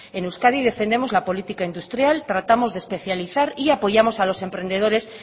en euskadi defendemos la política industrial tratamos de especializar y apoyamos a los emprendedores